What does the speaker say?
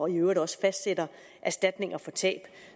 i øvrigt også fastsætter erstatninger for tab